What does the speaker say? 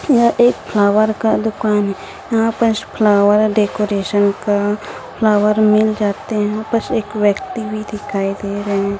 यह एक फ्लावर का दुकान है यहा पे फ्लावर डेकोरेशन का फ्लावर मिल जाते हैं बस एक व्यक्ति भी दिखाई दे रहे--